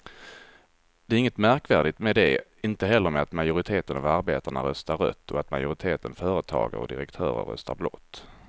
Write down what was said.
Det är inget märkvärdigt med det, inte heller med att majoriteten av arbetarna röstar rött och att majoriteten företagare och direktörer röstar blått.